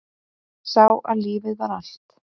Sá að lífið var allt.